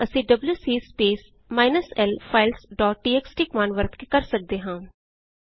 ਇਹ ਕੰਮ ਅਸੀ WC space minus l files dot TXT command ਵਰਤ ਕੇ ਕਰ ਸਕਦੇ ਹਾਂ